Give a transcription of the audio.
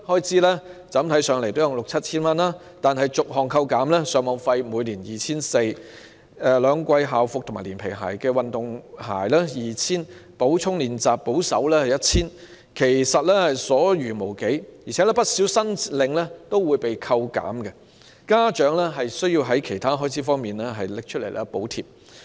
這筆款項看來也有六七千元，但逐項扣減後，例如上網費每年 2,400 元，兩季校服連皮鞋、運動鞋 2,000 元、補充練習保守估計也需要 1,000 元，其實已所餘無幾，而且不少申領款項均會被扣減，家長需要以其他開支補貼。